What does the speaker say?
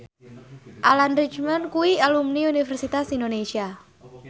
Alan Rickman kuwi alumni Universitas Indonesia